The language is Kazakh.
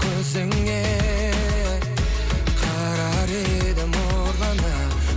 көзіңе қарар едім ұрлана